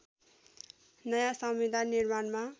नयाँ संविधान निर्माणमा